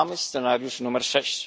Mamy scenariusz numer sześć.